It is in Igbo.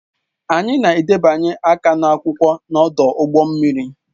Anyị na-abịanye aka n'akwụkwọ n'ọdụ ụgbọ mmiri